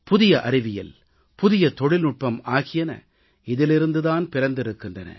புதிய அறிவியல் புதிய தொழில்நுட்பம் ஆகியன இதிலிருந்து தான் பிறந்திருக்கின்றன